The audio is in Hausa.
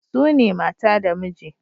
Sune mata da miji